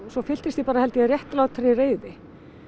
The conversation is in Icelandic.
svo fylltist ég bara réttlátri reiði